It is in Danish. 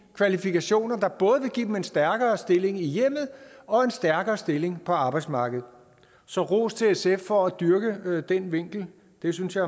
kvalifikationer der både vil give dem en stærkere stilling i hjemmet og en stærkere stilling på arbejdsmarkedet så ros til sf for at dyrke den vinkel det synes jeg